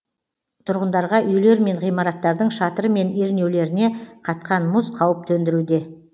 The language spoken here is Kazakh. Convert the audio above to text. тұрғындарға үйлер мен ғимараттардың шатыры мен ернеулеріне қатқан мұз қауіп төндіруде